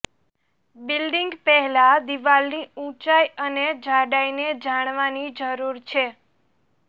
building પહેલા દિવાલની ઊંચાઇ અને જાડાઈને જાણવાની જરૂર છે